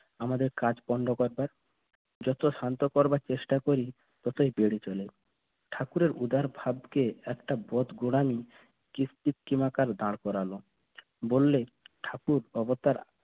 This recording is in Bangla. আমাদের কাজ বন্ধ করবার যত শান্ত করবার চেষ্টা করি তাতেই বেড়ে চলে ঠাকুরের উদার ভাবকে একটা বদ দাঁড় করালো বললে ঠাকুর অবতার